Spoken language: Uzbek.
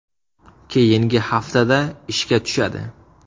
Keyingi haftada ishga tushadi.